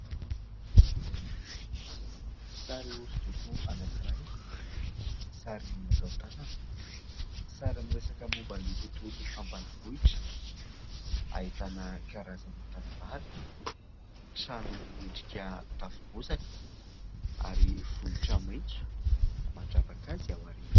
Sary hosodoko anankiray, sary natao tanana, sary miresaka momba ny tontolo ambanivohitra. Ahitana karazana tanimbary, trano miendrika tafo bozaka ary vohitra maitso mandravaka azy ao aoriana.